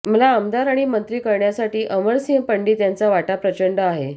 मला आमदार आणि मंत्री करण्यासाठी अमरसिंह पंडित यांचा वाटा प्रचंड आहे